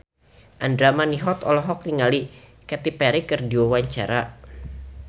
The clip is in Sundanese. Andra Manihot olohok ningali Katy Perry keur diwawancara